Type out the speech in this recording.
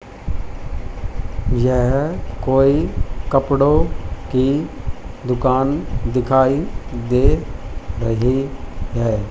यह कोई कपड़ों की दुकान दिखाई दे रही हैं।